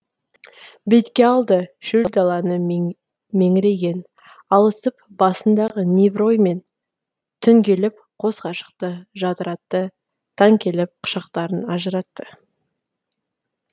бетке алды шөл даланы меңірейген алысып басындағы небір оймен түн келіп қос ғашықты жадыратты таң келіп құшақтарын ажыратты